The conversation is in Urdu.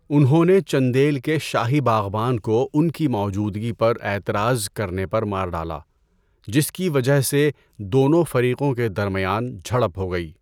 انہوں نے چندیل کے شاہی باغبان کو ان کی موجودگی پر اعتراض کرنے پر مار ڈالا، جس کی وجہ سے دونوں فریقوں کے درمیان جھڑپ ہو گئی۔